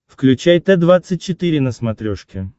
включай т двадцать четыре на смотрешке